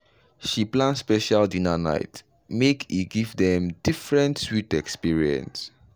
she plan special dinner nite make e give dem different sweet experience. experience.